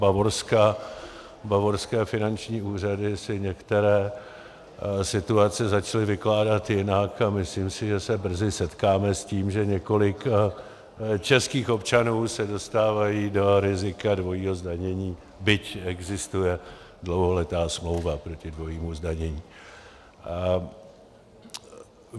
Bavorské finanční úřady si některé situace začaly vykládat jinak a myslím si, že se brzy setkáme s tím, že několik českých občanů se dostává do rizika dvojího zdanění - byť existuje dlouholetá smlouva proti dvojímu zdanění.